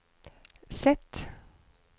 Z